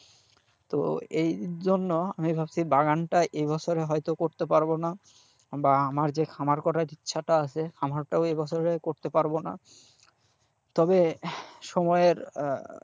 তো এই জন্য আমি ভাবছি বাগানটা এই বছরে হয়তো করতে পারবো না বা আমার যে খামার করার ইচ্ছাটা আছে খামারটাও এই বছরে করতে পারবো না তবে সময়ের,